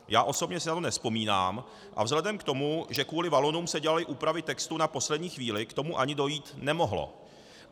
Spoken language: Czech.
Já osobně si na to nevzpomínám a vzhledem k tomu, že kvůli Valonům se dělaly úpravy textu na poslední chvíli, k tomu ani dojít nemohlo.